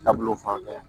Taabolo fan bɛɛ